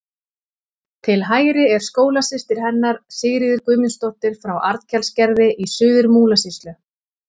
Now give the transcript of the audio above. Til hægri er skólasystir hennar, Sigríður Guðmundsdóttir frá Arnkelsgerði í Suður-Múlasýslu.